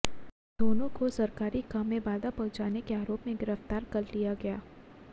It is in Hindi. दोनों को सरकारी काम में बाधा पहुंचाने के आरोप में गिरफ्तार कर लिया गया